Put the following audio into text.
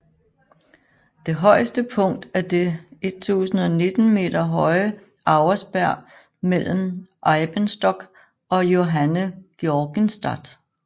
Det højeste punkt er det 1019 m høje Auersberg mellem Eibenstock og Johanngeorgenstadt